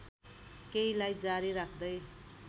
केहीलाई जारी राख्दै